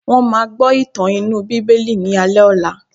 Wọ́n máa gbọ́ ìtàn inú bíbélì ni alé ọ̀la.